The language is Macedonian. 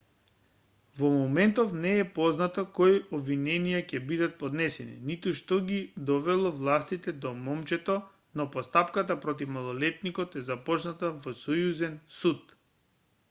во моментов не е познато кои обвиненија ќе бидат поднесени ниту што ги довело властите до момчето но постапката против малолетникот е започната во сојузен суд